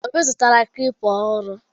Obi zụtara klịpa ọhụrụ.